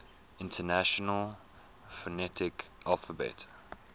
international phonetic alphabet